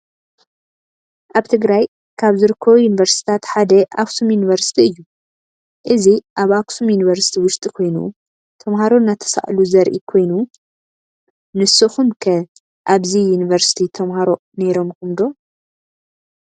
አብ ትግራይ ካብ ዝርከቡ ዩኒቨርስታት ሓደ አክሱም ዩኒቭርስቲ እዩ ። እዚ አብ አክሱም ዩኒቭርስቲ ውሽጢ ኮይኑ ተምሃሮ እናተሳእሉ ዘሪኢ ኮይኑ ንስኩም ከ አብዚ ዩኒቭርስቲ ተምሃሮ ነይሩኩም ዶ ?